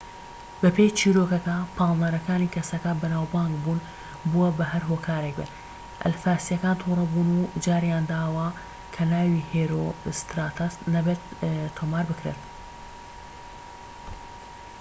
بەپێی چیرۆکەکە پاڵنەرەکانی کەسەکە بەناوبانگ بوون بووە بە هەر هۆکارێك بێت ئەلفاسیەکان تووڕەبوون و جاریانداوە کە ناوی هێرۆستراتەس نابێت تۆمار بکرێت